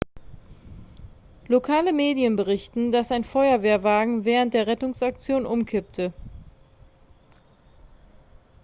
lokale medien berichten dass ein feuerwehrwagen während der rettungsaktion umkippte